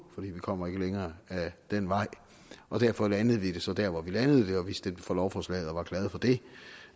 for man kommer ikke længere ad den vej derfor landede vi det så der hvor vi landede det og vi stemte for lovforslaget og var glade for det